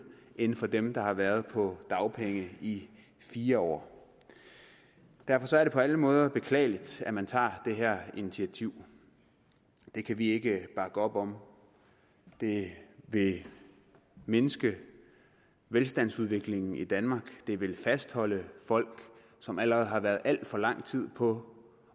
end for dem der har været på dagpenge i fire år derfor er det på alle måder beklageligt at man tager det her initiativ det kan vi ikke bakke op om det vil mindske velstandsudviklingen i danmark det vil fastholde folk som allerede har været alt for lang tid på